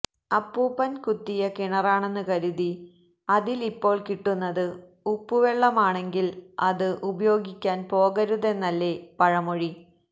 അപ്പൂപ്പൻ കുത്തിയ കിണറാണെന്ന് കരുതി അതിൽ ഇപ്പോൾ കിട്ടുന്നത് ഉപ്പു വെള്ളമാണെങ്കിൽ അത് ഉപയോഗിക്കാൻ പോകരുതെന്നല്ലേ പഴമൊഴി